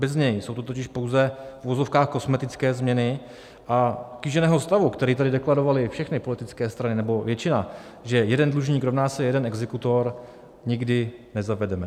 Bez něj jsou to totiž pouze v uvozovkách kosmetické změny a kýženého stavu, který tady deklarovaly všechny politické strany nebo většina, že jeden dlužník rovná se jeden exekutor, nikdy nezavedeme.